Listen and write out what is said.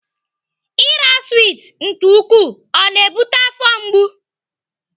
Ira swit nke ukwuu ọ na-ebute afọ mgbu?